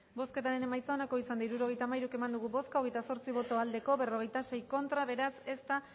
bozketaren emaitza onako izan da hirurogeita hamairu eman dugu bozka hogeita zortzi boto aldekoa cuarenta y seis contra beraz ez da